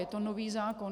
Je to nový zákon.